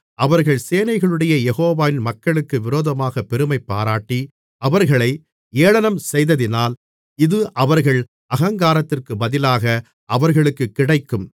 அவர்கள் சேனைகளுடைய யெகோவாவின் மக்களுக்கு விரோதமாகப் பெருமைபாராட்டி அவர்களை ஏளனம் செய்ததினால் இது அவர்கள் அகங்காரத்திற்குப் பதிலாக அவர்களுக்குக் கிடைக்கும்